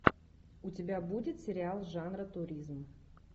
у тебя будет сериал жанра туризм